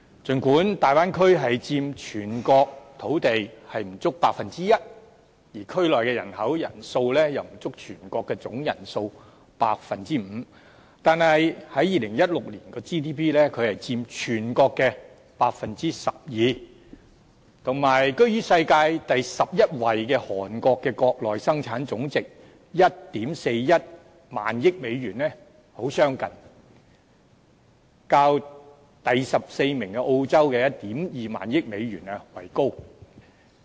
儘管大灣區佔全國土地面積不足 1%， 而區內人口數量也不足全國的總人數的 5%， 但在2016年，該地區卻佔全國 GDP 的 12%， 與居於世界第十一位韓國的國內生產總值 14,100 億美元很相近，較第十四位澳洲的 12,000 億美元為高。